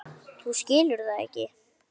Þú skilur það ekki.